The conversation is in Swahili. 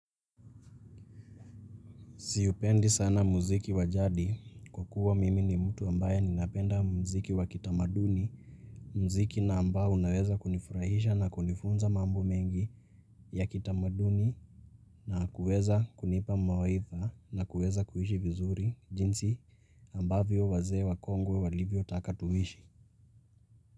Si upendi sana muziki wajadi kwa kua mimi ni mtu ambaye ninapenda muziki wa kitamaduni, muziki na ambao unaweza kunifurahisha na kunifunza mambo mengi ya kitamaduni na kuweza kunipa mawaidha na kuweza kuhishi vizuri jinsi ambavyo wazee wakongwe walivyo taka tuishi.